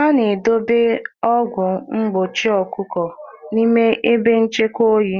A na-edobe ọgwụ mgbochi anụ ọkụkọ n'ime ebe oyi